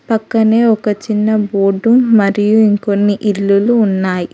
పక్కనే ఒక చిన్న బోర్డు మరియు ఇంకొన్ని ఇల్లులు ఉన్నాయి.